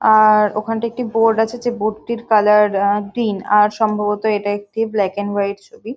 আঁ ওখানে একটি বোর্ড আছে যে বোর্ড টির কালার আ গ্রীন আর সম্ভবত এটা একটি ব্ল্যাক এন্ড হোয়াইট ছবি।